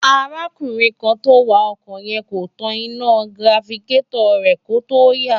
arákùnrin kan tó ń wa ọkọ̀ yẹn kò tan iná tirafikétọ̀ rẹ̀ kó tó yà